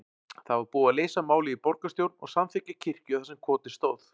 Það var búið að leysa málið í borgarstjórn og samþykkja kirkju þar sem kotið stóð.